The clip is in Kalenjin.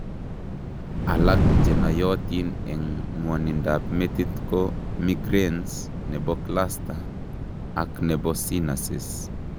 Alak chenoiyotin eng' ng'wonindab metit ko migranes, nebo cluster, ak nebo sinuses